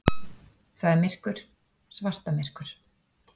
Það er myrkur, svartamyrkur.